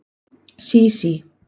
Sísí